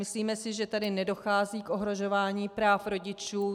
Myslíme si, že tady nedochází k ohrožování práv rodičů.